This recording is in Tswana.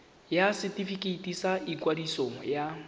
ya setefikeiti sa ikwadiso ya